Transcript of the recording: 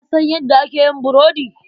Ka san yadda ake yin burodi?